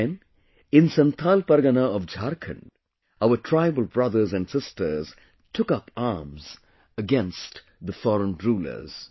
Then, in Santhal Pargana of Jharkhand, our tribal brothers and sisters took up arms against the foreign rulers